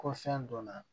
Ko fɛn donna